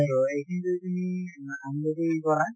তʼ এইখিনি যদি তুমি কৰা